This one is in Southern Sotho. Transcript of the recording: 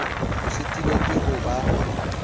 o sitilwe ke ho ba